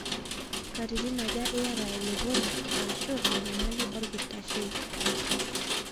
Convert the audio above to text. Nkatitin aja iyata elepori aashu enyamali olkitashei?